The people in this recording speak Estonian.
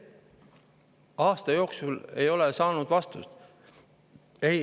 Aga aasta jooksul ei ole ma saanud vastust.